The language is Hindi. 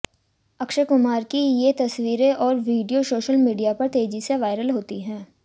अक्षय कुमार की ये तस्वीरें और वीडियो सोशल मीडिया पर तेजी से वायरल होती है